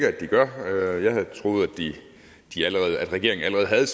at de gør jeg havde troet at regeringen allerede havde